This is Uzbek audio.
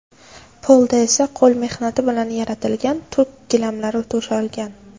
Polda esa qo‘l mehnati bilan yaratilgan turk gilami to‘shalgan.